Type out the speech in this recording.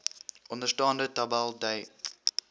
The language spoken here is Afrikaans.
onderstaande tabel dui